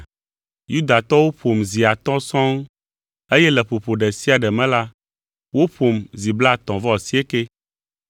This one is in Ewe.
Yudatɔwo ƒom zi atɔ̃ sɔŋ eye le ƒoƒo ɖe sia ɖe me la, woƒom zi blaetɔ̃-vɔ-asiekɛ.